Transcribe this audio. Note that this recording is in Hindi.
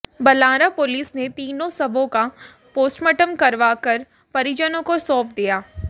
बलारां पुलिस ने तीनों शवों का पोस्टमार्टम करवा कर परिजनों को सौंप दिया